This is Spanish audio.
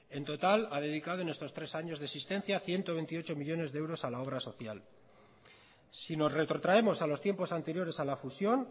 en total ha dedicado en estos tres años de existencia ciento veintiocho millónes de euros a la obra social si nos retrotraemos a los tiempos anteriores a la fusión